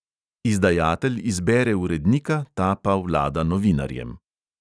Izdajatelj izbere urednika, ta pa vlada novinarjem.